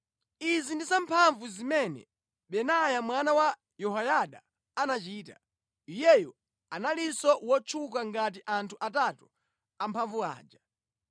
Izi ndi zamphamvu zimene Benaya mwana wa Yehoyada anachita. Iyeyo analinso wotchuka ngati anthu atatu amphamvu aja.